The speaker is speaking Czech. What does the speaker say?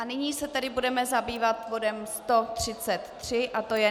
A nyní se tedy budeme zabývat bodem 133 a to je